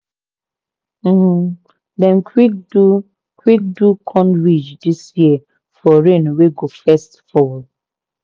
um dem quick do quick do corn ridge this year for rain wey go first fall.